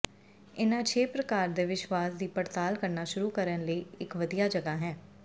ਇਨ੍ਹਾਂ ਛੇ ਪ੍ਰਕਾਰ ਦੇ ਵਿਸ਼ਵਾਸ ਦੀ ਪੜਤਾਲ ਕਰਨਾ ਸ਼ੁਰੂ ਕਰਨ ਲਈ ਇੱਕ ਵਧੀਆ ਜਗ੍ਹਾ ਹੈ